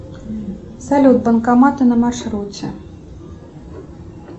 салют банкоматы на маршруте